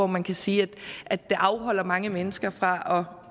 man kan sige afholder mange mennesker fra